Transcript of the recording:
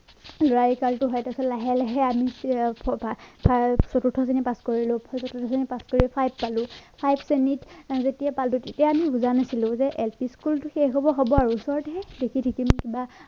লৰালি কালটো হয় তাৰ পিছত লাহে লাহে আমি চতুৰ্থ শ্ৰেণী পাছ কৰিলো চতুৰ্থ শ্ৰেণী পাছ কৰি five পালো five শ্ৰেণীত যেতিয়া পালো তেতিয়া আমি বুজা নাছিলো যে lp school টো শেষ হব হব আৰু ওচৰত হে দেখি দেখি কিবা